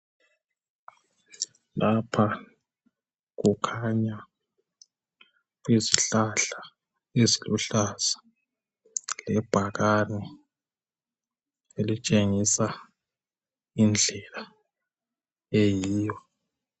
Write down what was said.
Lapha kukhanya kuyizihlahla eziluhlaza lebhakane elitshengisa indlela eyiyo.